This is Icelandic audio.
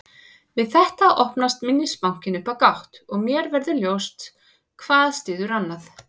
Við þetta opnast minnisbankinn upp á gátt og mér verður ljóst að hvað styður annað.